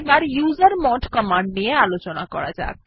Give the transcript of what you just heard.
এবার user mode command নিয়ে আলোচনা করা যাক